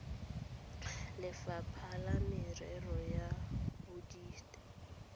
lefapha la merero ya bodit